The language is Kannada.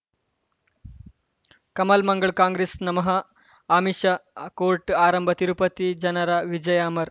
ಕಮಲ್ ಮಂಗಳ್ ಕಾಂಗ್ರೆಸ್ ನಮಃ ಅಮಿಷ್ ಕೋರ್ಟ್ ಆರಂಭ ತಿರುಪತಿ ಜನರ ವಿಜಯ ಅಮರ್